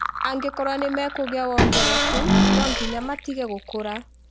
"Angĩkorwo nĩmekũgĩa wongereku ,no nginya matige gũkũra